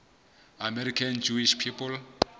american jewish people